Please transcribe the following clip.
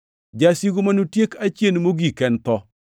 Jasigu manotieki achien mogik en tho,